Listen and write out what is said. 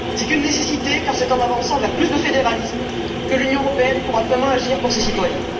C'est une nécessité, car c'est en avançant vers plus de fédéralisme que l'Union européenne pourra vraiment agir pour ses citoyens.